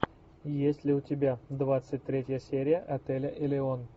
есть ли у тебя двадцать третья серия отеля элеон